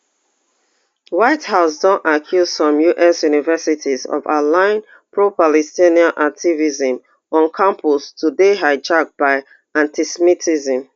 white house don accuse some us universities of of allowing propalestinian activism on campus to dey hijacked by antisemitism